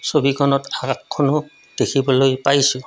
ছবিখনত দেখিবলৈ পাইছোঁ।